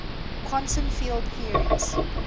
quantum field theories